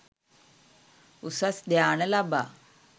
උසස් ධ්‍යාන ලබා